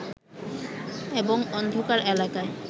এবং অন্ধকার এলাকায়